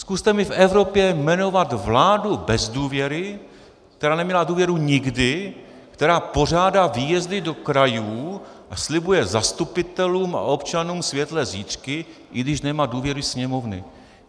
Zkuste mi v Evropě jmenovat vládu bez důvěry, která neměla důvěru nikdy, která pořádá výjezdy do krajů a slibuje zastupitelům a občanům světlé zítřky, i když nemá důvěru sněmovny.